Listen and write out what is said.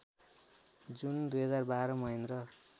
जुन २०१२ महेन्द्र